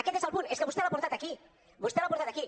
aquest és el punt és aquest vostè l’ha portat aquí vostè l’ha portat aquí